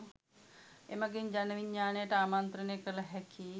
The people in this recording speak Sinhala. එමගින් ජන විඥානයට ආමන්ත්‍රණය කළ හැකි